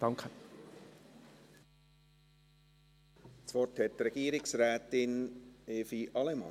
Das Wort hat Regierungsrätin Evi Allemann.